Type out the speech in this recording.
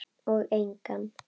Og engan.